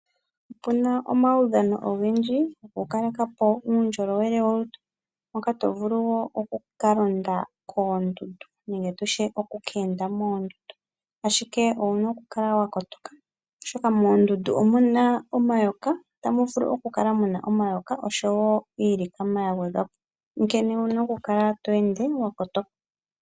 Opuna omaudhano ogendji go kukalekapo uundjolowele wolutu moka to vuluvwo oku kalaonda koondundu nenge oku ka enda moondundu, ashike owuna oku kala wa kotoka oshoka moondundu omuna omayoka, ota muvulu okukala muna omayoka oshowo iilikama ya gwedhwapo onkene owuna oku kala to ende wa kotoka.